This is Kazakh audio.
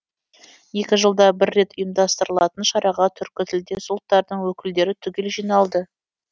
екі жылда бір рет ұйымдастырылатын шараға түркі тілдес ұлттардың өкілдері түгел жиналды